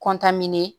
kɔntanni